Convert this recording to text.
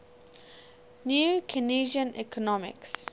new keynesian economics